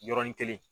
Yɔrɔnin kelen